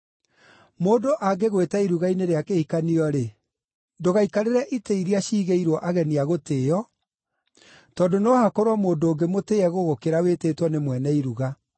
“Mũndũ angĩgwĩta iruga-inĩ rĩa kĩhikanio-rĩ, ndũgaikarĩre itĩ iria ciigĩirwo ageni a gũtĩĩo, tondũ no hakorwo mũndũ ũngĩ mũtĩĩe gũgũkĩra wĩtĩtwo nĩ mwene iruga.